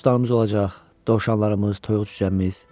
Yekə bostanımız olacaq, dovşanlarımız, toyuq-cüzəmiz.